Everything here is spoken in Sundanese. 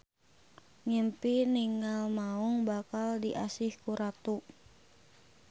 Ngimpi ningal maung; bakal diasih ku ratu.